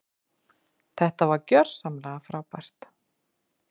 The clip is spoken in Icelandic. Þetta var gjörsamlega frábært.